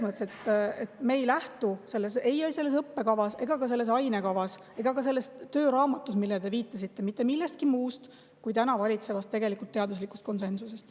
Me ei lähtu ei õppekavas, selles ainekavas ega ka selles tööraamatus, millele te viitasite, mitte millestki muust kui täna valitsevast teaduslikust konsensusest.